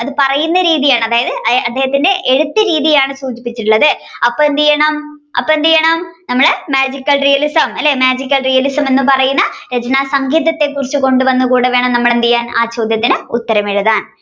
അത് പറയുന്ന രീതിയാണ് അതായത് അദ്ദേഹത്തിന്റെ എഴുത്തു രീതിയാണ് സൂചിപ്പിച്ചിട്ടുള്ളത് അപ്പൊ എന്തെയ്യണം അപ്പൊ എന്തെയ്യണം നമ്മൾ Magical realism അല്ലെ Magical realism എന്ന് പറയുന്ന രചനാസങ്കേതത്തെകുറിച്ചു കൊണ്ടുവന്നുകൂടെവേണം നമ്മൾ എന്തെയാൻ ആ ചോദ്യത്തിന് ഉത്തരമെഴുതാൻ